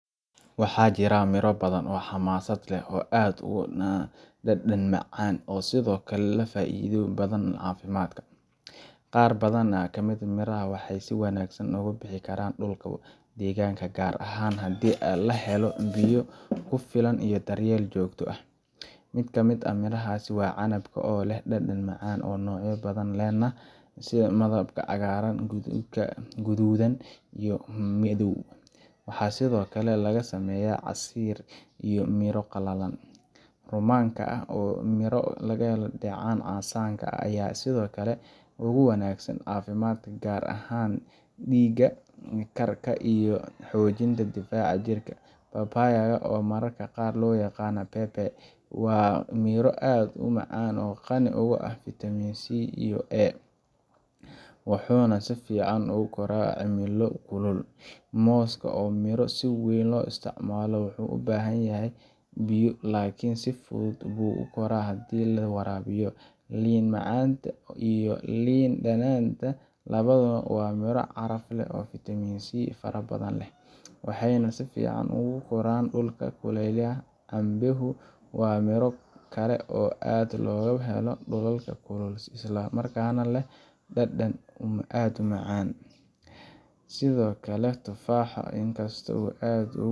Waxaa jira mirro badan oo xamaasad leh oo aad u dhadhan macaan oo sidoo kale leh faa’iidooyin badan oo caafimaad. Qaar badan oo ka mid ah mirahan waxay si wanaagsan uga bixi karaan dhulka deegaankaaga, gaar ahaan haddii la helo biyo ku filan iyo daryeel joogto ah. Mid ka mid ah mirahaas waa canabka, oo leh dhadhan macaan, noocyo badan lehna sida midabka cagaaran, guduudan iyo madow. Waxaa sidoo kale laga sameeyaa casiir iyo miro qalalan. Rummaanka, oo ah miro laga helo dheecaan casaanka ah, ayaa sidoo kale aad ugu wanaagsan caafimaadka, gaar ahaan dhiig-karka iyo xoojinta difaaca jirka. Papaya, oo mararka qaar loo yaqaan pebe, waa miro aad u macaan oo qani ku ah fiitamiin C iyo A, wuxuuna si fiican ugu koraa cimilo kulul. Mooska, oo ah miro si weyn loo isticmaalo, wuxuu u baahan yahay biyo, laakiin si fudud buu u koraa haddii la waraabiyo. Liin macaanta iyo liin dhanaanta labaduba waa miro caraf leh oo leh fiitamiin C fara badan, waxayna si fiican ugu koraan dhulka kuleylaha ah. Cambehu waa miro kale oo aad looga helo dhulalka kulul, isla markaana leh dhadhan aad u macaan. Sidoo kale, tufaaxa in kastoo uu aad